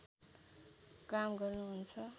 काम गर्नु हुन्छ